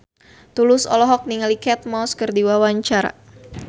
Tulus olohok ningali Kate Moss keur diwawancara